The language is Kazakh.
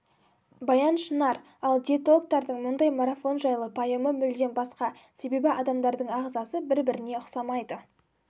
баян шынар ал диетологтардың мұндай марафон жайлы пайымы мүлдем басқа себебі адамдардың ағзасы бір-біріне ұқсамайды